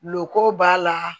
Loko b'a la